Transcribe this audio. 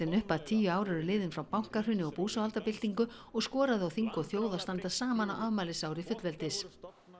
upp að tíu ár eru liðin frá bankahruni og búsáhaldabyltingu og skoraði á þing og þjóð að standa saman á afmælisári fullveldis